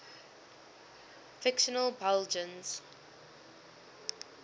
fictional belgians